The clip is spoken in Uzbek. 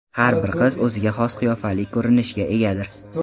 Har bir qiz o‘ziga xos qiyofali ko‘rinishga egadir.